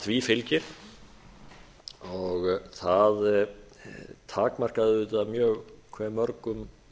því fylgir og það takmarkaði auðvitað mjög hve mörgum